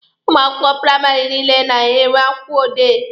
Ụmụ akwụkwọ praịmarị niile na-enwe akwụkwọ odee.